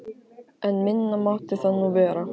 En minna mátti það nú vera.